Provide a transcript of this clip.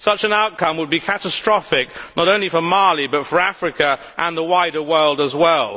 Such an outcome would be catastrophic not only for Mali, but for Africa and the wider world as well.